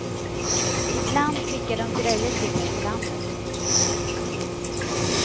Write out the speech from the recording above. I bland skickar de grejer till mig på landet.